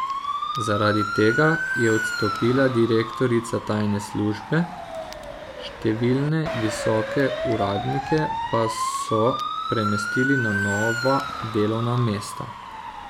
Zaradi tega je odstopila direktorica tajne službe, številne visoke uradnike pa so premestili na nova delovna mesta.